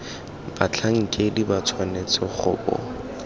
batlhankedi ba tshwanetse go bo